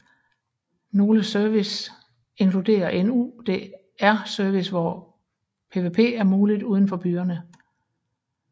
Nogle service inkludere en Urdr serve hvor PvP er muligt udenfor byerne